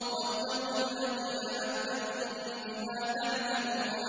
وَاتَّقُوا الَّذِي أَمَدَّكُم بِمَا تَعْلَمُونَ